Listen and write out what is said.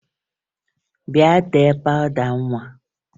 Bịa tee pawụda nwa!